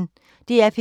DR P1